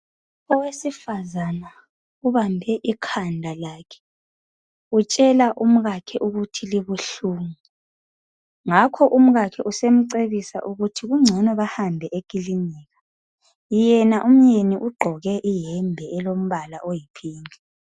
Owesifazana ubambe ikhanda lakhe utshela umkakhe ukuthi libuhlungu ngakho umkakhe usemcebisa ukuthi kungcono bahambe ekilinika yena umyeni ugqoke iyembe elombala oyi pink